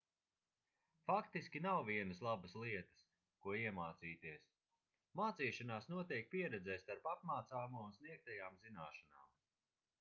faktiski nav vienas labas lietas ko iemācīties mācīšanās notiek pieredzē starp apmācāmo un sniegtajām zināšanām